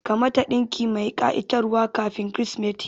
Ka mata ɗinki mai ƙa'itar wa kafin kirismeti